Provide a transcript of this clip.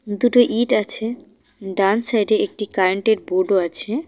দুটো ইট আছে ডান সাইডে একটি কারেন্টের বোর্ডও আছে।